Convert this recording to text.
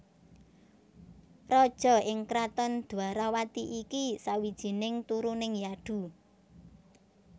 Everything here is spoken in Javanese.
Raja ing kraton Dwarawati iki sawijining turuning Yadhu